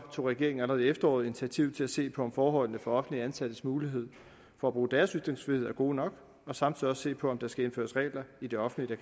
tog regeringen allerede i efteråret initiativ til at se på om forholdene for offentligt ansattes mulighed for at bruge deres ytringsfrihed er gode nok og samtidig også se på om der skal indføres regler i det offentlige